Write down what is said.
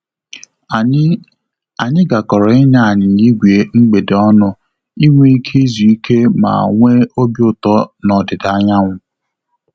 Anyị Anyị gakọrọ ịnya anyịnya ígwè mgbede ọnụ inwe ike izu ike ma nwe obi ụtọ na ọdịda anyanwụ